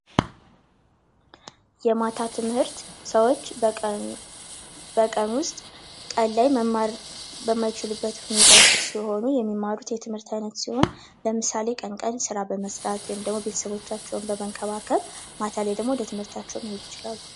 የማታ ትምህርት ሰዎች መማር በማይችሉበት ሁኔታ ውስጥ ሲሆኑ የሚማሩት የትምህርት ዓይነት ሲሆን ለምሳሌ ቀን ቀን ስራ በመስራት ቤተሰቦቻቸውን በማገዝ ማታ ላይ ደግሞ ወደ ትምህርታቸው መሄድ ይችላሉ።